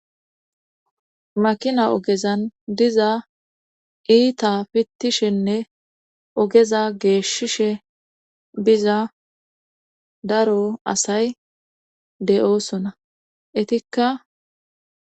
makina ogezan diza iita pittishenne ogeza geeshishe biza daro asay de7oosona etikka